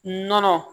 Nɔnɔ